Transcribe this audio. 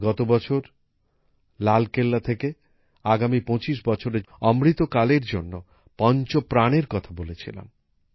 আমি গত বছর লাল কেল্লা থেকে আগামী ২৫ বছরের অমৃত কালের জন্য পঞ্চ প্রণের কথা বলেছিলাম